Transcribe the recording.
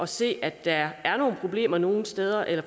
se at der er problemer nogle steder eller